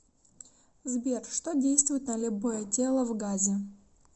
сбер что действует на любое тело в газе